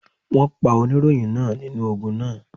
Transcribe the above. Wọ́n pa oníròyìn náà nínú ogun náà.